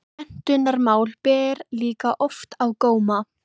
Menntunarmál ber líka oft á góma.